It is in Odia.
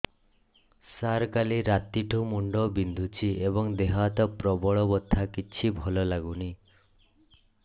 ସାର କାଲି ରାତିଠୁ ମୁଣ୍ଡ ବିନ୍ଧୁଛି ଏବଂ ଦେହ ହାତ ପ୍ରବଳ ବଥା କିଛି ଭଲ ଲାଗୁନି